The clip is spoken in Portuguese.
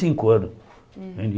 cinco anos né.